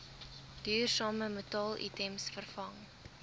duursame metaalitems vervang